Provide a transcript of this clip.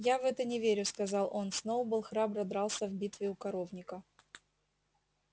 я в это не верю сказал он сноуболл храбро дрался в битве у коровника